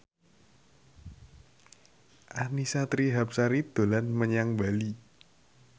Annisa Trihapsari dolan menyang Bali